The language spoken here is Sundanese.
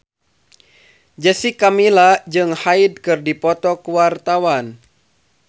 Jessica Milla jeung Hyde keur dipoto ku wartawan